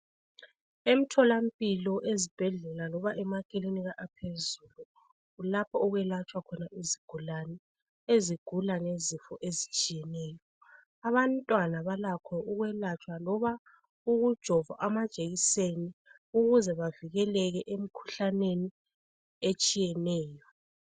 Emtholampilo, ezibhedlela loba emakilinika aphezulu lapha okwelatshwa izigulane ezigula ngezifo ezitshiyeneyo. Abantwana balakho ukwelatshwa loba ukujovwa amajekiseni ukuze bavikeleke emkhuhlaneni etshiyeneyo.